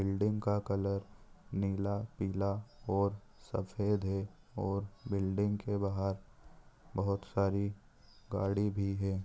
Building का colour नीला पीला और सफ़ेद है और बिल्डिंग के बाहर बहुत सारी गाड़ी भी है।